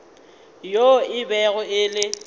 yo e bego e le